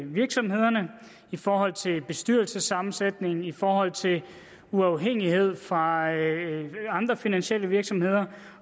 virksomhederne i forhold til bestyrelsessammensætning i forhold til uafhængighed fra andre finansielle virksomheder